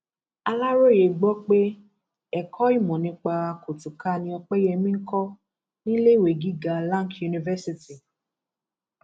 aláròye gbọ pé ẹkọ ìmọ nípa kùtùkà ni opeyemi ń kọ níléèwé gíga lanc university